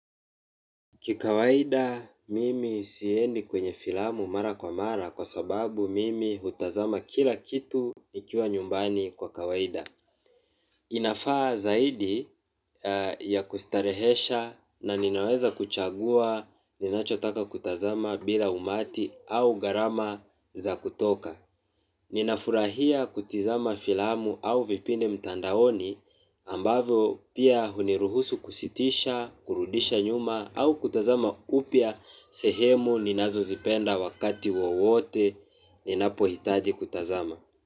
Kikawaida mimi siendi kwenye filamu mara kwa mara kwa sababu mimi hutazama kila kitu nikiwa nyumbani kwa kawaida. Inafaa zaidi ya kustarehesha na ninaweza kuchagua ninachotaka kutazama bila umati au garama za kutoka. Ninafurahia kutizama filamu au vipindi mtandaoni ambavyo pia huniruhusu kusitisha, kurudisha nyuma au kutazama kupia sehemu ninazo zipenda wakati wowote ninapo hitaji kutazama.